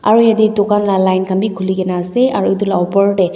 aru jatte dukan laga line khan bhi khuli kina ase aru etu laga opor te--